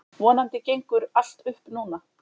Vonandi gengur allt upp núna.